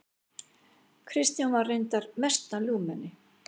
Kristján var reyndar mesta ljúfmenni.